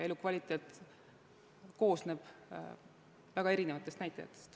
Elukvaliteet koosneb väga erinevatest näitajatest.